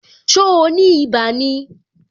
So ni ibà ni?